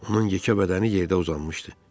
Onun yekə bədəni yerdə uzanmışdı.